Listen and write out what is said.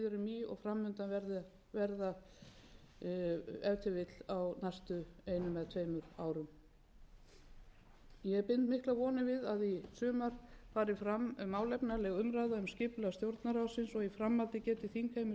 í og fram undan verða ef til vill á næstu einum eða tveimur árum ég bind miklar vonir við að í sumar fari fram málefnaleg umræða má skipulag stjórnarráðsins og í framhaldi geti þingheimur sameinast um að